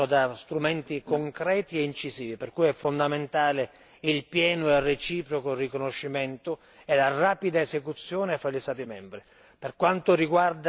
della giustizia passano da strumenti concreti e incisivi, per cui sono fondamentali il pieno e il reciproco riconoscimento e la rapida esecuzione fra gli Stati membri.